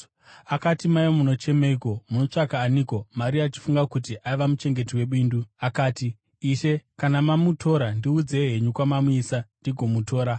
Akati, “Mai, munochemeiko? Munotsvaka aniko?” Maria achifunga kuti aiva muchengeti webindu, akati, “Ishe, kana mamutora, ndiudzei henyu kwamamuisa ndigomutora.”